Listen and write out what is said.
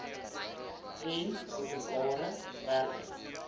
en openbare werke